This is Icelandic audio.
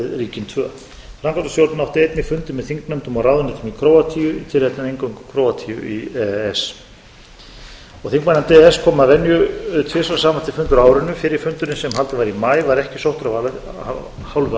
við ríkin tvö framkvæmdastjórnin átti einnig fundi með þingnefndum og ráðuneytum í króatíu í tilefni af inngöngu króatíu í e e s þingmannanefnd e e s kom að venju tvisvar saman til fundar á árinu fyrri fundurinn sem haldinn var í maí var ekki sóttur af hálfu